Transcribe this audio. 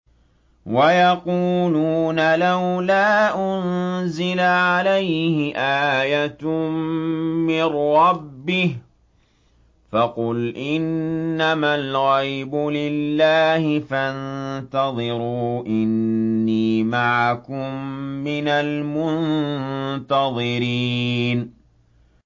وَيَقُولُونَ لَوْلَا أُنزِلَ عَلَيْهِ آيَةٌ مِّن رَّبِّهِ ۖ فَقُلْ إِنَّمَا الْغَيْبُ لِلَّهِ فَانتَظِرُوا إِنِّي مَعَكُم مِّنَ الْمُنتَظِرِينَ